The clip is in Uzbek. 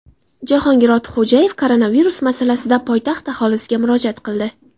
Jahongir Ortiqxo‘jayev koronavirus masalasida poytaxt aholisiga murojaat qildi.